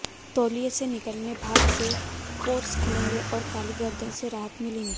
तौलिये से निकली भाप से पोर्स खुलेंगे और काली गदर्न से राहत मिलेगी